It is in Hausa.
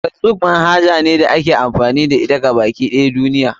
Facebook manhaja ce da ake amfani da ita a gaba ɗaya duniya.